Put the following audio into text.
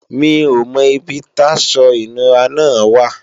Mi ò mọ ibi táṣọ ìnura náà wà